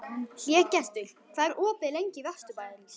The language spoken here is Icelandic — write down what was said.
Hlégestur, hvað er opið lengi í Vesturbæjarís?